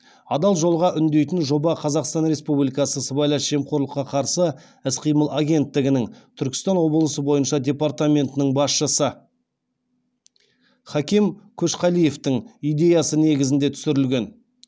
адал жолға үндейтін жоба қазақстан республикасы сыбайлас жемқорлыққа қарсы іс қимыл агенттігінің түркістан облысы бойынша департаментінің басшысы хаким көшқалиевтің идеясы негізінде түсірілген